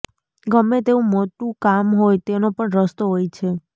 ગમે તેવું મોટું કામ હોય તેનો પણ રસ્તો હોય છે